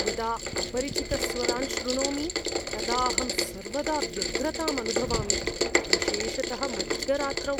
यदा अपरिचितस्वरान् शृणोमि, तदा अहं सर्वदा व्यग्रताम् अनुभवामि, विशेषतः मध्यरात्रौ।